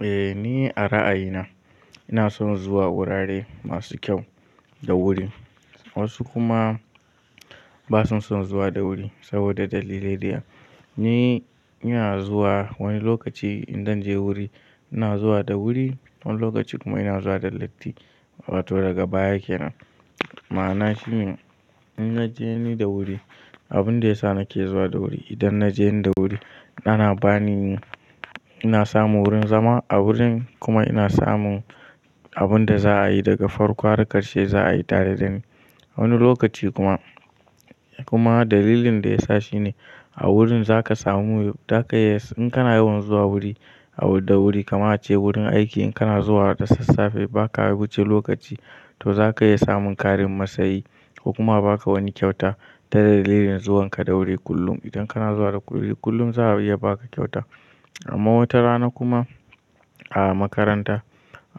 Eh ni a ra'ayina ina son zuwa wurare masu kyau da wuri. Wasu kuma ba su son zuwa da wuri saboda dalilai daya. Ni, ina zuwa wani lokaci in dan je wuri ina zuwa da wuri, wani lokaci kuma ina zuwa da latti. Wato daga baya kenan. Ma'ana shi in na je ni da wuri, abun da ya sa nake zuwa da wuri idan na je ni da wuri ana bani, ina samu wurin zama a wurin kuma ina samun abun da za a yi daga farko har ƙarshe za a yi tare da ni. Wani lokaci kuma, kuma dalilin da ya sa shi ne a wurin za ka samu, za ka iya in kana yawan zuwa wuri a da wuri kama a ce wurin aiki in kana zuwa da sassafe ba ka wuce lokaci to za ka iya samun ƙarin matsayi ko kuma ba ka wani kyauta ta dalilin zuwanka da wuri kullum. Idan kana zuwa da wuri kullum za a iya ba ka kyauta amma wata rana kuma a makaranta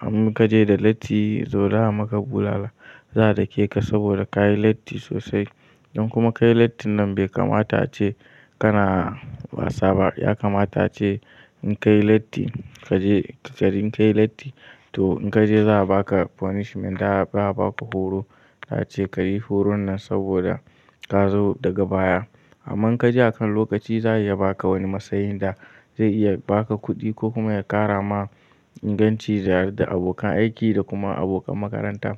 in ka je da latti, to za a maka bulala. Za a dake ka saboda ka yi latti sosai. Idan kuma ka yi lattin nan bai kamata ace kana wasa ba. Ya kamata ace in ka yi latti, ka je ka bari ka yi latti to in ka je za a ba ka punishment. Za a ba ka horo. Da ace ka yi horon nan saboda ka zo daga baya. Amma in ka je akan lokaci za a iya ba ka wani matsayin da zai iya ba ka kuɗi ko kuma ya ƙara ma inganci tare da abokan aiki da kuma abokan makaranta.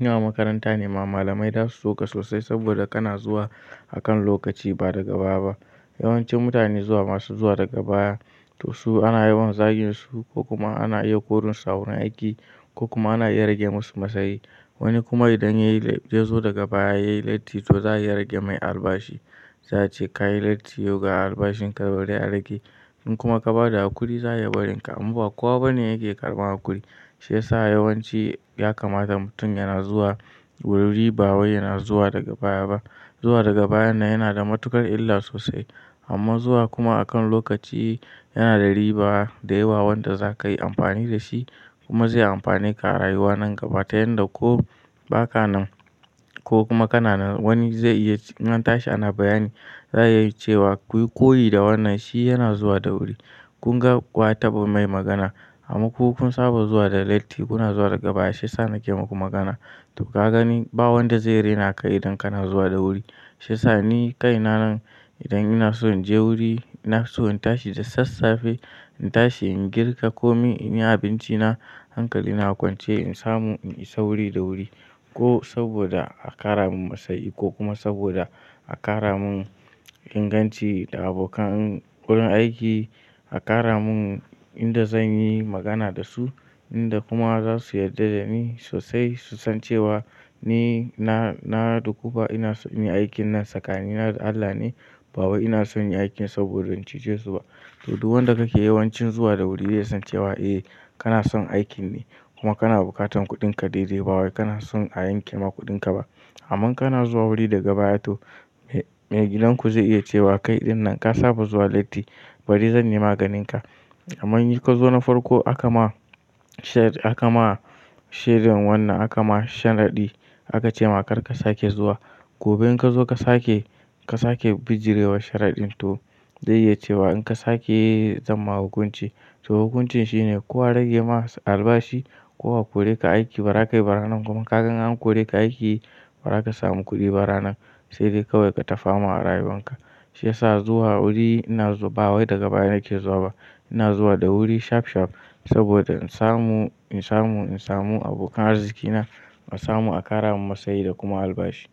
Ina makaranta ne ma malamai da su so ka sosai saboda kana zuwa akan lokaci ba daga baya ba. Yawanci mutane zuwa masu zuwa daga baya to su ana yawan zagin su ko kuma ana iya korin su a wurin aiki ko kuma ana iya rage musu matsayi. Wani kuma idan ya yi, ya zo daga baya ya yi latti to za a iya rage mai albashi. Za a ce ka yi latti, yau ga albashin ka bari a rage. In kuma ka ba da hakuri za a iya barin ka amma ba kowa bane yake karɓan hakuri. Shi ya sa yawanci ya kamata mutum yana zuwa wuri ba wai yana zuwa daga baya ba. Zuwa daga bayan nan yana da matukar illa sosai amma zuwa kuma akan lokaci yana da riba da yawa wanda za ka yi amfani da shi kuma zai amfane ka a rayuwa nan gaba ta yanda ko ba ka nan ko kuma kana nan wani zai iya in tashi ana bayani za a yi cewa kuyi koyi da wannan shi yana zuwa da wuri. Kun ga waya taɓa mai magana. Amma ku kun saba zuwa da latti kuna zuwa daga baya shi ya sa nake muku magana. To ka gani ba wanda zai rena ka idan kana zuwa da wuri. Shi ya sa ni kai na nan idan ina so in je wuri ina so in tashi da sassafe. In tashi in girka ko mi in yi abinci na hankali na a kwance in samu in isa wuri da wuri ko saboda a ƙara min matsayi ko kuma saboda a ƙara mun inganci da abokan wurin aiki a ƙara mun inda zan yi magana da su, inda kuma za su yarda da ni sosai su san cewa ni na, na duku fa ina son inyi aikin nan sakani da Allah ne ba wai ina son inyi aikin saboda in cuce su ba. To duk wanda kake yawancin zuwa da wuri zai san cewa eh kana son aikin ne kuma kana bukatar kuɗinka daidai ba wai kana son a yanke ma kuɗinka ba. Amma in kana zuwa wuri daga baya to mai gidan ku zai iya cewa kai ɗin nan ka saba zuwa latti bari zan yi maganinka. Amman yi ka zo na farko aka ma shared, aka ma sharing wannan aka ma sharadi aka ce ma kar ka sake zuwa. Gobe in ka zo ka sake, ka sake bijirewa sharaɗin to zai iya cewa in ka sake zan ma hukunci. To hukuncin shi ne ko a rage ma albashi ko a kore ka aiki ba ka yi ba ranan kuma ka ga in an kore ka aiki bara ka samu kuɗi ba ranan sai dai kawai ka tafa ma a rayuwanka. Shi ya sa zuwa wuri ina ba wai daga baya nake zuwa ba. Ina zuwa da wuri shaf shaf saboda in samu, in samu, in samu abokan arziki na in samu a ƙara min matsayi da kuma albashi.